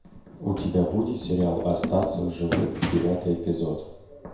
у тебя будет сериал остаться в живых девятый эпизод